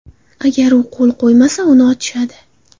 Agar u qo‘l qo‘ymasa, uni otishadi.